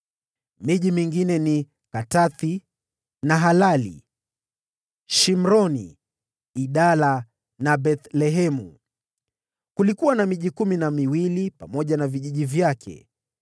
Miji mingine iliyojumuishwa ni Katathi, Nahalali, Shimroni, Idala na Bethlehemu. Kulikuwa na miji kumi na miwili pamoja na vijiji vyake.